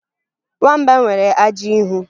Nwamba nwere ajị ihu